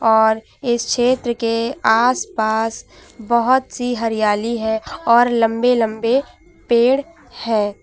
और इस क्षेत्र के आसपास बहोत सी हरियाली है और लंबे लंबे पेड़ हैं।